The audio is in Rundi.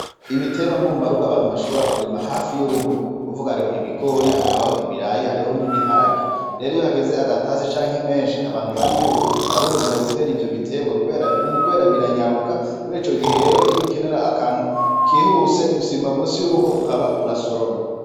Ibiterwa mbumbaruga abantu bashobora kurima hafi y'urugo kuvugaho ibigori, hakabaho ibirayi, hariho n'ibiharage rero iyo hageze agatase canke imenshi abantu barahurumbura gutera ivyobiterwa kubera biranyaruka murico gihe rero iyo ukenera akantu kihuse usimba munsi y'urugo ukaba urasoromye.